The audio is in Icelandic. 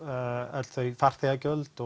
öll þau farþegagjöld